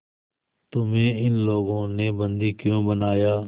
तुम्हें इन लोगों ने बंदी क्यों बनाया